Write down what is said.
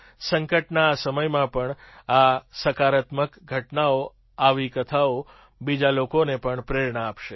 સંકટના આ સમયમાં પણ આ સકારાત્મક ઘટનાઓ આવી કથાઓ બીજા લોકોને પણ પ્રેરણા આપશે